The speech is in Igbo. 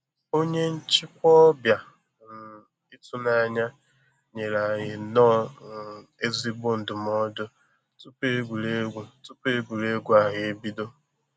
Onye nchịkwa ọbịa um ịtụnanya nyere anyị nnọọ um ezigbo ndụmọdụ tupu egwuregwu tupu egwuregwu ahụ ebido